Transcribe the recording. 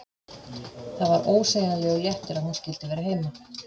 Það var ósegjanlegur léttir að hún skyldi vera heima.